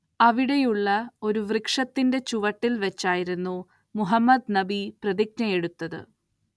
അവിടെയുള്ള ഒരു വൃക്ഷത്തിന്റെ ചുവട്ടിൽ വെച്ചായിരുന്നു മുഹമ്മദ്‌ നബി പ്രതിജ്ഞയെടുത്തത്‌.